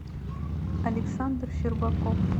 александр щербаков